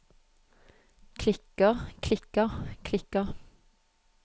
klikker klikker klikker